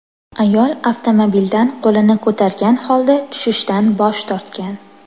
Ayol avtomobildan qo‘lini ko‘targan holda tushishdan bosh tortgan.